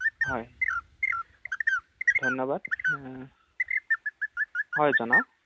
হয় ধন্যবাদ অ আ হয় জনাওক